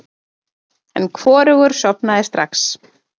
En hvorugur sofnaði strax.